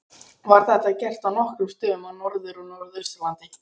Var þetta gert á nokkrum stöðum á Norður- og Norðausturlandi.